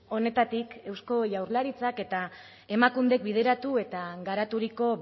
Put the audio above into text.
honetatik eusko jaurlaritzak eta emakundek bideratu eta garaturiko